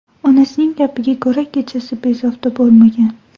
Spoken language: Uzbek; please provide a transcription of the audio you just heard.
Onasining gapiga ko‘ra, kechasi bezovta bo‘lmagan.